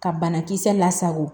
Ka banakisɛ lasago